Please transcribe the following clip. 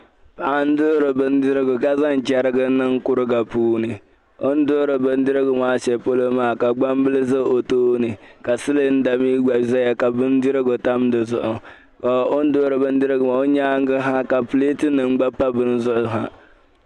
Paɣa n-duɣiri bindirigu ka zaŋ chɛriga niŋ kuriga puuni. O ni duɣiri bindirigu maa shɛli polo maa ka gbambila shɛli za o tooni ka silinda mi gba zaya ka bindirigu tam di zuɣu. O nyaaŋga ha ka pileetinima gba pa bini zuɣu ha.